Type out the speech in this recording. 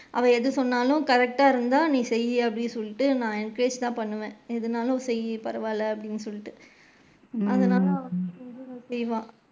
அவ எது சொன்னாலும் correct டா இருந்தா நீ செய்யி அப்படின்னு சொல்லிட்டு நான் encourage தான் பண்ணுவேன், எதுனாலு செய்யி பரவால அப்படின்னு சொல்லிட்டு அதனால அவ செய்வா.